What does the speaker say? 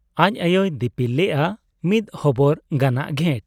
ᱟᱡ ᱟᱭᱳᱭ ᱫᱤᱯᱤᱞ ᱞᱮᱜ ᱟ ᱢᱤᱫ ᱦᱚᱵᱚᱨ ᱜᱟᱱᱟᱜ ᱜᱷᱮᱴ ᱾